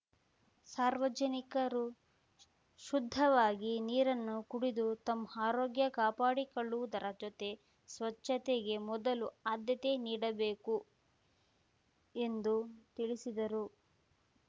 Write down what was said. ಸಾರ್ವಜನಿಕರು ಶುದ್ಧವಾಗಿ ನೀರನ್ನು ಕುಡಿದು ತಮ್ಮ ಆರೋಗ್ಯ ಕಾಪಾಡಿಕೊಳ್ಳುವುದರ ಜೊತೆ ಸ್ವಚ್ಚತೆಗೆ ಮೊದಲು ಆದ್ಯತೆ ನೀಡಬೇಕು ಎಂದು ತಿಳಿಸಿದರು